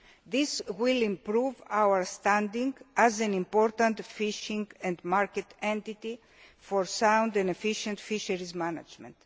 worldwide. This will improve our standing as an important fishing and market entity for sound and efficient fisheries management.